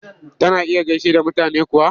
Tana iya gaishe da mutane kuwa?